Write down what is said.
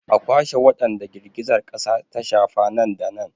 A kwashe wadanda girgizar kasa ta shafa nan da nan!